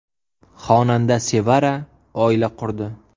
Xonanda Sevara oila qurdi.